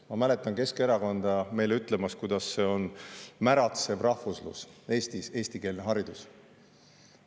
Ma mäletan Keskerakonda meile ütlemas, et Eestis eestikeelne haridus, see on märatsev rahvuslus.